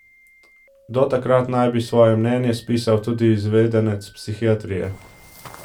Do takrat naj bi svoje mnenje spisal tudi izvedenec psihiatrije.